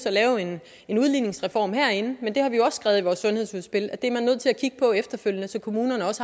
at lave en udligningsreform herinde men der har vi jo også skrevet i vores sundhedsudspil at det er man nødt til at kigge på efterfølgende så kommunerne